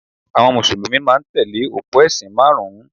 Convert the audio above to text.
Àwọn Mùsùlùmí máa ń tẹ̀lé òpó ẹ̀sìn márùn-ún